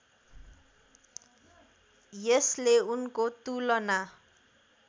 यसले उनको तुलना